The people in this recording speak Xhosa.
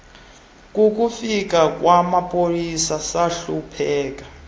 kukufika kwamapolisa sahlupheka